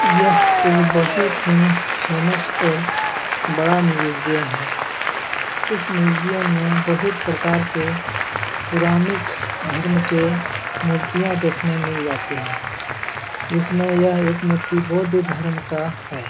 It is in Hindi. यह एक बहुत ही फेमस और बड़ा म्यूजियम है इस म्यूजियम में बहुत प्रकार के पुरानिक धर्म के मूर्तियां देखने मिल जातें हैं जिसमें यह एक मूर्ति बौद्ध धर्म का है।